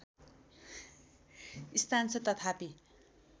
स्थान छ तथापि